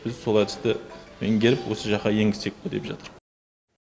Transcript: біз сол әдісті меңгеріп осы жаққа енгізсек пе деп жатырм